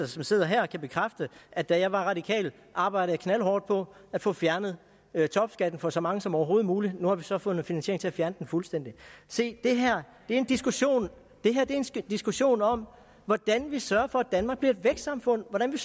som sidder her kan bekræfte at da jeg var radikal arbejdede jeg knaldhårdt på at få fjernet topskatten for så mange som overhovedet muligt nu har vi så fundet finansiering til at fjerne den fuldstændig se det her er en diskussion diskussion om hvordan vi sørger for at danmark bliver et vækstsamfund hvordan vi